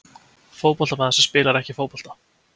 Fótboltamaður sem spilar ekki fótbolta?